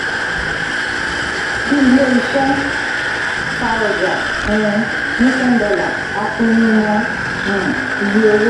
bí ilé-iṣẹ́ ta ọjà um ní $10 a pinnu mọ um iye owó.